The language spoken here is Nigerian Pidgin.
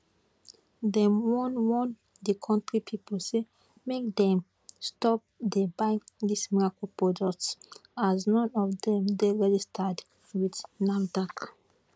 dem warn warn di kontri pipo say make dem stop dey buy dis miracle products as none of dem dey registered wit nafdac